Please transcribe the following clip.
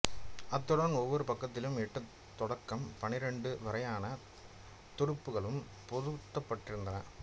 அத்துடன் ஒவ்வொரு பக்கத்திலும் எட்டுத் தொடக்கம் பன்னிரண்டு வரையான துடுப்புக்களும் பொருத்தப்பட்டிருந்தன